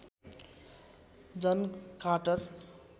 John Carter